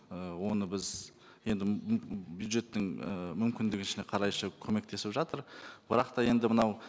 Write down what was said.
ы оны біз енді бюджеттің і мүмкіндігінше қарай көмектесіп жатыр бірақ та енді мынау